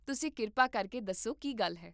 ਤੁਸੀਂ ਕਿਰਪਾ ਕਰਕੇ ਦੱਸੋ ਕੀ ਗੱਲ ਹੈ